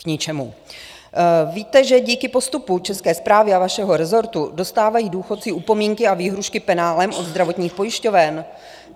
Víte, že díky postupu České správy a vašeho rezortu dostávají důchodci upomínky a výhrůžky penále od zdravotních pojišťoven?